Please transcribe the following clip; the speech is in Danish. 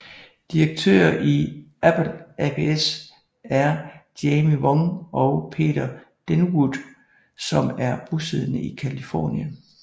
Direktører i Apple ApS er Jamie Wong og Peter Denwood som er bosiddende i Californien